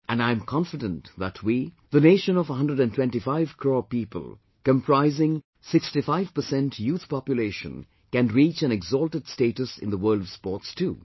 And, I am confident that we, the nation of 125 crore people comprising 65 percent youth population can reach an exalted status in the world of sports too